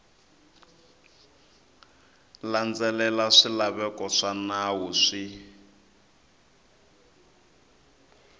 landzelela swilaveko swa nawu swi